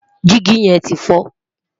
Dígì yẹn ti fọ́.